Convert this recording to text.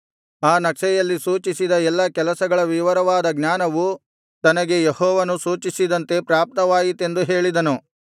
ಆ ನಕ್ಷೆಯಲ್ಲಿ ಸೂಚಿಸಿದ ಎಲ್ಲಾ ಕೆಲಸಗಳ ವಿವರವಾದ ಜ್ಞಾನವು ತನಗೆ ಯೆಹೋವನು ಸೂಚಿಸಿದಂತೆ ಪ್ರಾಪ್ತವಾಯಿತೆಂದು ಹೇಳಿದನು